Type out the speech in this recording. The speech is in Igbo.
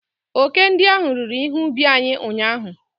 Oke ndị ahụ riri ihe ubi anyị ụnyahụ.